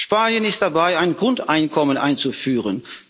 Spanien ist dabei, ein Grundeinkommen einzuführen.